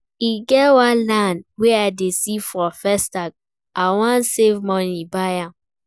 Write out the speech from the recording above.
E get one land wey I dey see for Festac, I wan save money buy am